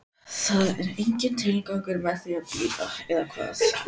Það er enginn tilgangur með því að bíða, eða hvað?